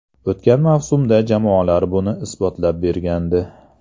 O‘tgan mavsumda jamoalar buni isbotlab bergandi.